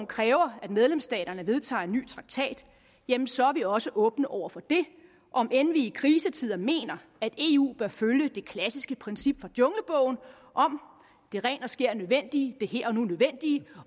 kræver at medlemsstaterne vedtager en ny traktat jamen så er vi også åbne over for det om end vi i krisetider mener at eu bør følge det klassiske princip fra junglebogen om det rent og skært nødvendige det her og nu nødvendige